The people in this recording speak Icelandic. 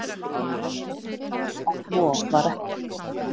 En svo var ekki